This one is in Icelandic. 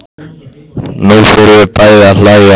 Nú förum við bæði að hlæja.